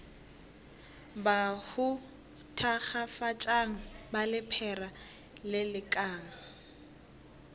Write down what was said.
bahu thakgafatšang ba lephera lelekang